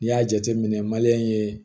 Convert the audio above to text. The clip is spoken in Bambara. N'i y'a jateminɛ ye